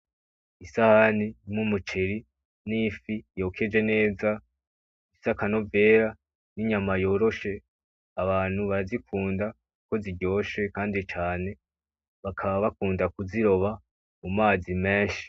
Isahani n'umuceri n'ifi yokeje neza ifise akanovera n'inyama yoroshe, abantu barazikunda kuko ziryoshe kandi cane, bakaba bakunda kuziroba mu mazi menshi.